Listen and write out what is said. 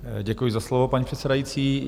Děkuji za slovo, paní předsedající.